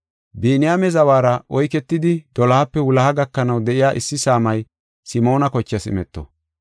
Biniyaame zawara oyketidi, dolohape wuloha gakanaw de7iya issi saamay Simoona kochaas imeto.